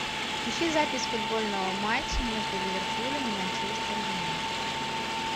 ищи запись футбольного матча между ливерпулем и манчестер юнайтед